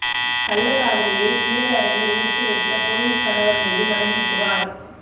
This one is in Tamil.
கள்ளக்காதலியை குளியலறையில் ஒளித்து வைத்த போலீஸ் கணவர் மீது மனைவி புகார்